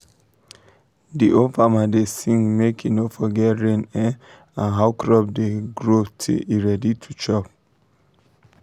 the old farmer da sing make he no forget rain um and how crop da um grow till e ready to chop